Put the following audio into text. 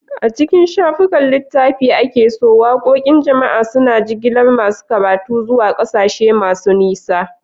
A cikin shafukan littafi da ake so, waqoqin jama'a suna jigilar masu karatu zuwa ƙasashe masu nisa.